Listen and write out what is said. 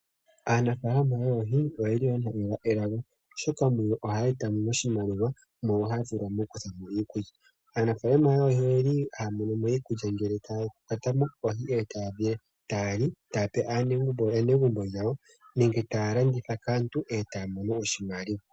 Aanafalama yoohi yo oyeli oshoka muyo ohaya etamo oshimaliwa mo ohaya kuthamo iikulya. Aanafalama oyeli haya monomo iikulya ngele taya kwatamo oohi nde taya li nenge taya pee aanegumbo yawo nenge taya landitha kaantu aa taya mono oshimaliwa.